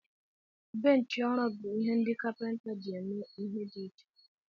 Benchi ọrụ bụ ihe ọrụ ndị kapinta ji eme ihe dị iche.